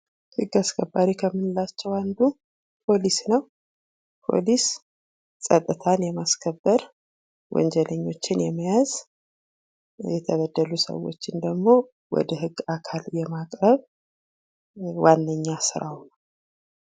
ህግ አስከባሪ ከምንላቸዉ አንዱ ፖሊስ ነዉ። ፖሊስ ፀጥታን የማስከበር ወንጀለኞችን የመያዝ የተበደሉ ሰዎችን ደግሞ ወደ ህግ አካል ማቅረብ ዋነኛ ስራዉ ነዉ።